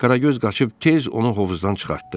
Qaragöz qaçıb tez onu hovuzdan çıxartdı.